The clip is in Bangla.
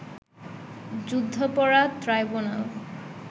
যুদ্ধাপরাধ ট্রাইব্যুনাল